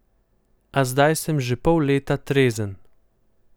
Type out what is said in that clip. A zdaj sem že pol leta trezen.